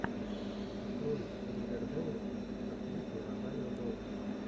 открой ривердэйл с актрисой розарио доусон